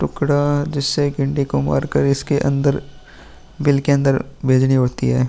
टुकड़ा जिससे डंडे को मार कर इसके अन्दर बिल के अन्दर भेजनी होती है।